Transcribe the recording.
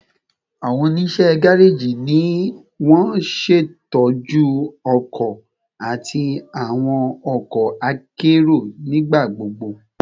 Awọn oniṣẹ gareji ni won ṣetọju ọkọ ati awọn ọkọ akero nigbagbogbo